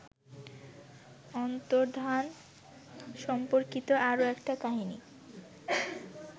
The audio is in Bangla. অন্তর্ধান সম্পর্কিত আরও একটা কাহিনি